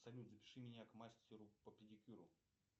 салют запиши меня к мастеру по педикюру